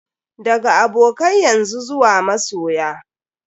Daga abokai yanzu zuwa masoya.